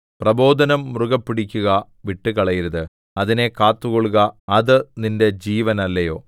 പ്രബോധനം മുറുകെ പിടിക്കുക വിട്ടുകളയരുത് അതിനെ കാത്തുകൊള്ളുക അത് നിന്റെ ജീവനല്ലയോ